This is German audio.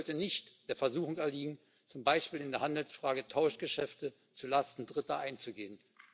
Die EU sollte nicht der Versuchung erliegen, zum Beispiel in der Handelsfrage Tauschgeschäfte zulasten Dritter einzugehen.